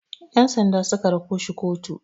Yansanda su ka rako shi kotu.